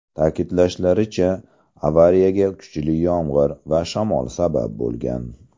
Ta’kidlashlaricha, avariyaga kuchli yomg‘ir va shamol sabab bo‘lgan.